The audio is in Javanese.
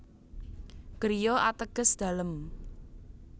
Griya ateges dalem